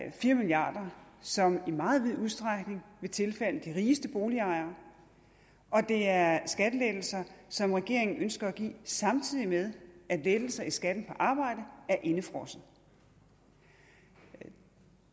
er fire milliard kr som i meget vid udstrækning vil tilfalde de rigeste boligejere og det er skattelettelser som regeringen ønsker at give samtidig med at lettelser i skatten på arbejde er indefrosset det